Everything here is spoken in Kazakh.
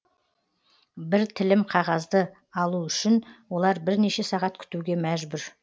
бір тілім қағазды алу үшін олар бірнеше сағат күтуге мәжбүр